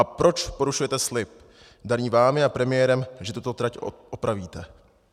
A proč porušujete slib daný vámi a premiérem, že tuto trať opravíte?.